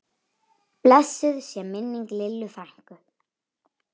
Blessuð sé minning Lillu frænku.